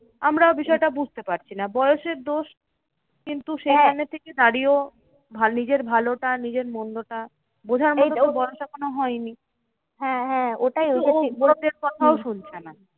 আমরা বিষয়টা বুঝতে পারছি না। বয়সের দোষ, কিন্তু সেইখানে থেকে দাঁড়িয়েও নিজের ভালোটা নিজের মন্দটা বোঝার মতো বয়স এখনো হয়নি। লোকের কোথাও শুনছে না।